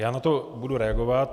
Já na to budu reagovat.